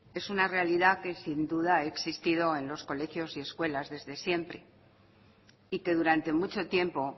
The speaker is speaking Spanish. es una realidad que sin duda es sufrido en los colegios y escuelas desde siempre y que durante mucho tiempo